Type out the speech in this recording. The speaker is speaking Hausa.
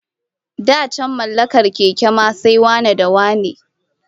Da can mallakar keke ma sai wane-da-wane